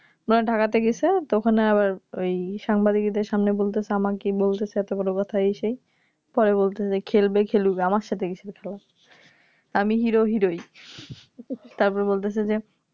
Dhaka তে গেছে তো ওখানে আবার ওই সাংবাদিকদের সামনে বলছে আমাকেই বলছে এতগুলো কথা এই সেই পরে বলছে খেলবে খেলুক আমার সাথে কিসের খেলা আমি Hero hero ই তারপরে বলছে যে